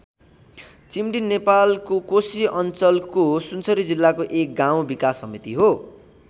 चिम्डी नेपालको कोशी अञ्चलको सुनसरी जिल्लाको एक गाउँ विकास समिति हो।